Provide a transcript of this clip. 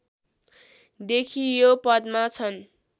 देखि यो पदमा छन्